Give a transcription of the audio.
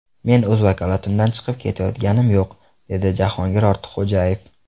Men o‘z vakolatimdan chiqib ketayotganim yo‘q”, dedi Jahongir Ortiqxo‘jayev.